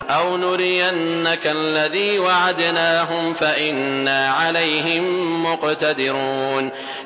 أَوْ نُرِيَنَّكَ الَّذِي وَعَدْنَاهُمْ فَإِنَّا عَلَيْهِم مُّقْتَدِرُونَ